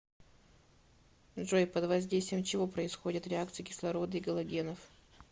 джой под воздействием чего происходят реакции кислорода и галогенов